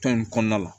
Tɔn in kɔnɔna la